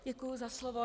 Děkuji za slovo.